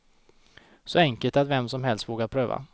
Så enkelt att vem som helst vågar pröva.